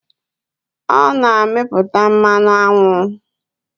Ọ na-amịputa mmanụ aṅụ.